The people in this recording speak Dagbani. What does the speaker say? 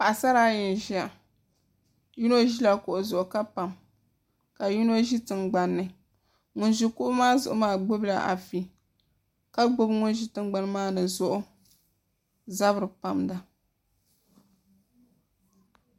Paɣasara ayi n ʒiya yino ʒila kuɣu zuɣu ka pam ka yino ʒi tingbanni ŋun ʒi kuɣu maa zuɣu maa gbubila afi ka gbubi ŋun ʒi tingbani maa ni zuɣu zabiri pamda